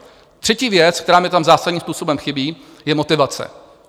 Třetí věc, která mi tam zásadní způsobem chybí, je motivace.